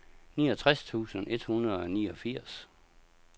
niogtres tusind et hundrede og niogfirs